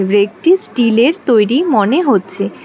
রেকটি স্টিলের তৈরি মনে হচ্ছে।